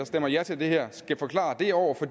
stemmer ja til det her skal forklare det over for